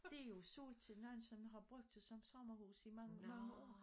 Det jo solgt til nogen som har brugt det som sommerhus i mange mange år